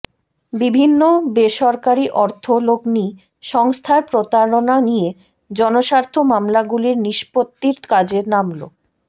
বিভিন্ন বেসরকারি অর্থ লগ্নি সংস্থার প্রতারণা নিয়ে জনস্বার্থ মামলাগুলির নিষ্পত্তির কাজে নামল